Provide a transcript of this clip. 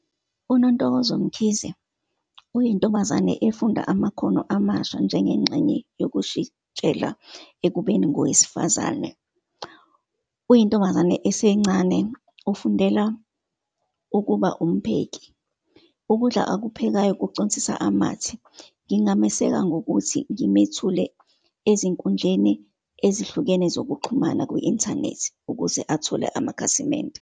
UNontokozo Mkhize uyintombazane efunda amakhono amasha njengengxenye yokushintshela ekubeni ngowesifazane. Uyintombazane esencane, ufundela ukuba umpheki. Ukudla akuphekayo kuconsisa amathe. Ngingameseka ngokuthi ngimethule ezinkundleni ezihlukene zokuxhumana kwi-inthanethi, ukuze athole amakhasimende.